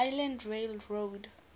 island rail road